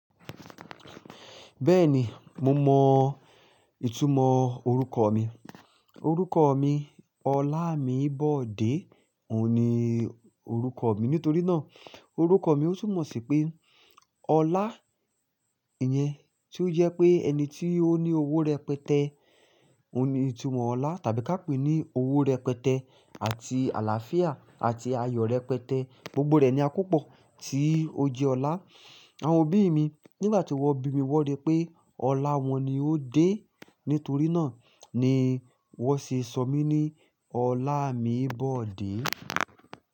Bẹ́ẹ̀ni, mo mọ ìtumọ̀ orúkọ ọ̀ mi. Orúkọ ọ̀ mi Ọlámibọ̀dé òun ni orúkọ ọ̀ mi. Nítorí náà orúkọ mi ó túmọ̀ sí pé Ọlá ìyẹn tí ó jẹ́ pé ẹni tí ó ní owó rẹpẹtẹ. Òun ni ìtumọ̀ Ọlá tàbí ká pè é ní owó rẹpẹtẹ àti àlàáfíà àti ayọ̀ rẹpẹtẹ. Gbogbo rẹ̀ ni akópọ̀ tí ó jẹ́ Ọlá. Àwọn òbí ì mi nígbà tí wọ́n bí mi wọ́n ri pé ọlá wọn ni ó dé. Nítorí náà ni wọ́n ṣe sọ mí ní Ọlámibọ̀dé.